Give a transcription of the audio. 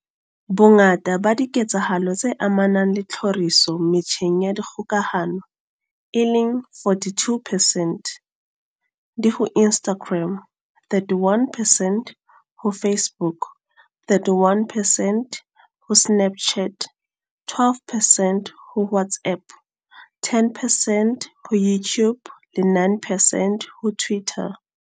Bongata ba diketsahalo tse amanang le tlhoriso metjheng ya kgokahano, e leng 42 percent, di ho Instagram, 31 percent ho Facebook, 31 percent ho Snapchat, 12 percent ho WhatsApp, 10 percent ho YouTube le 9 percent ho Twitter.